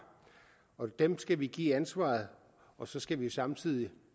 dem skal vi give ansvaret og så skal vi samtidig